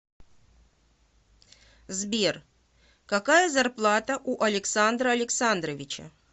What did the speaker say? сбер какая зарплата у александра александровича